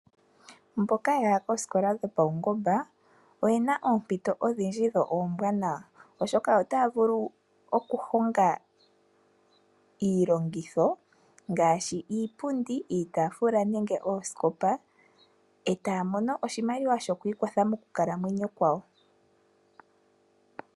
Mboka yaya koosikola dhopawungomba oyena oompito odhindji dho oombanawa oshoka otaya vulu okuhonga iilongitho ngaashi iipundi, iitaafula nenge oosikopa etaya mono oshimaliwa shoku ikwatha moonkalamwenyo dhawo.